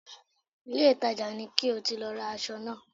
Ìlé-ìtajà ni ko ti lọ ra aṣọ náà